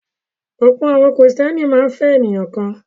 Ọ̀pọ̀ àwọn Kìrìtẹ́ẹ́nì máa ń fẹ́ ènìyàn kan.